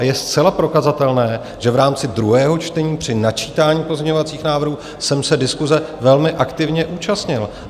A je zcela prokazatelné, že v rámci druhého čtení při načítání pozměňovacích návrhů jsem se diskuse velmi aktivně účastnil.